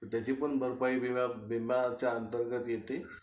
त्याची पण भरपाई विम्याच्या अंतर्गत येते